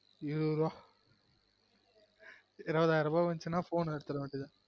இருபது ரூபா இருபதாயிரம் ரூபா வந்துச்சுனா phone எடுத்துற வேண்டியது தான்